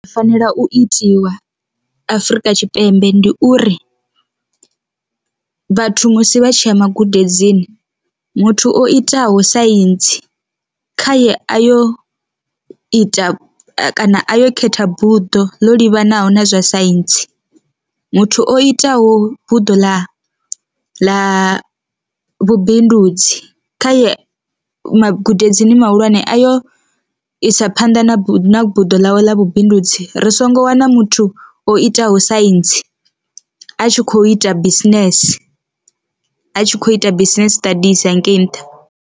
U fanela u itiwa Afrika Tshipembe ndi uri, vhathu musi vha tshi ya magudedzini muthu o itaho saintsi khaye a yo u ita kana a yo khetha buḓo ḽa livhanaho na zwa saintsi, muthu o itaho buḓo ḽa ḽa vhubindudzi kha ye magudedzini mahulwane a yo isa phanḓa na buḓo ḽawe la vhubindudzi ri songo wana muthu o itaho saintsi a tshi kho ita business a tshi kho ita business siṱadisi hangei nṱha.